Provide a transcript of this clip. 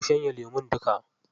Ku shanye lemun duka.